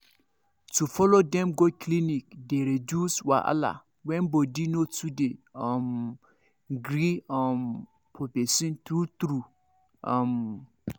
to follow dem go clinic dey reduce wahala when body no too dey um gree um for person true true um